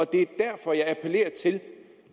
det er derfor jeg appellerer til